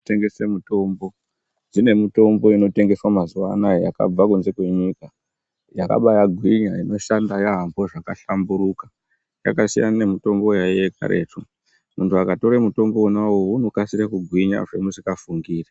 Kutengese mutombo, dzine mutombo inotengeswa mazuva anaya yakabva kunze kwenyika, yakabaagwinya inoshanda yaamho zvakahlamburuka yakasiyana nemitombo yaiyeyo karetu, muntu akatora mutombo wonawowo unokurumidza kugwinya zvamusingafungiri